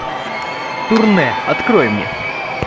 турне открой мне